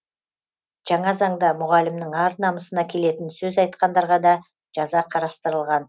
жаңа заңда мұғалімнің ар намысына келетін сөз айтқандарға да жаза қарастырылған